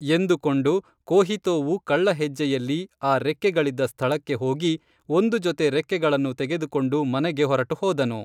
ಎಂದು ಕೊಂಡು ಕೋಹಿತೋವು ಕಳ್ಳ ಹೆಜ್ಜೆಯಲ್ಲಿ ಆ ರೆಕ್ಕೆಗಳಿದ್ದ ಸ್ಥಳಕ್ಕೆ ಹೋಗಿ ಒಂದು ಜೊತೆ ರೆಕ್ಕೆಗಳನ್ನು ತೆಗೆದುಕೊಂಡು ಮನೆಗೆ ಹೊರಟು ಹೋದನು